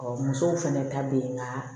musow fɛnɛ ta bɛ ye nka